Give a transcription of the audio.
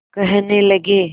कहने लगे